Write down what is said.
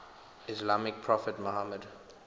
islamic prophet muhammad